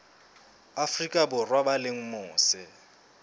afrika borwa ba leng mose